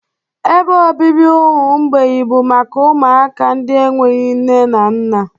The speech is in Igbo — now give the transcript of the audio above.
Ebe obibi ụmụ mgbei bụ maka ụmụaka ndị enweghị nne na nna.